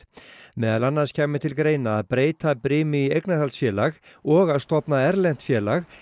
meðal annars kæmi til greina að breyta brimi í eignarhaldsfélag og að stofna erlent félag